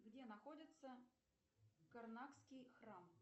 где находится карнакский храм